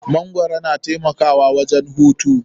Magwaro na taimakawa wajen hutu.